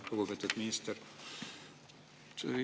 Lugupeetud minister!